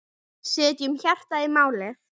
Setjum hjartað í málið.